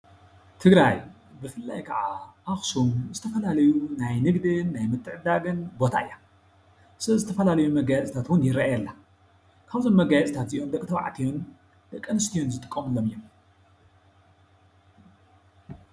ትግራይ ብፍላይ ከዓ ኣኽሱም ዝተፈላለዩ ናይ ንግድን ናይ ምትዕድዳግን ቦታ እያ። ሰለዚ ዝተፈላለዩ መጋየፅታት እውን ይረአየላ። ኻብዞም መጋየፅታት እዚኦም ደቅ ተባዕትዩን ደቅ ኣንስትዮን ዝጥቀሙሎም እዮም።